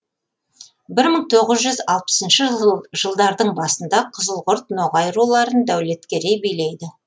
бір мың тоғыз жүз алпысыншы жылдардың басында қызылқұрт ноғай руларын дәулеткерей билейді